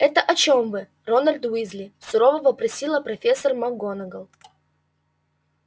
это о чём вы рональд уизли сурово вопросила профессор макгонагалл